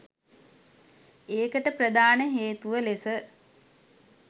ඒකට ප්‍රධාන හේතුව ලෙස